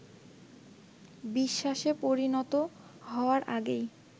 বিশ্বাসে পরিণত হওয়ার আগেই